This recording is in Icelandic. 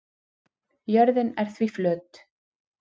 Jörðin er því flöt.